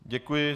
Děkuji.